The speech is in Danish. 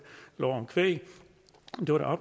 af kvæg det var da